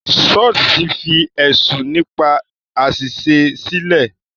Suits fi ẹ̀sùn nípa àṣìṣe sílẹ̀.